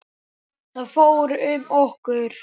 Þá fór um okkur.